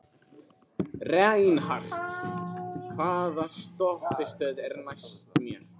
Reinhart, hvaða stoppistöð er næst mér?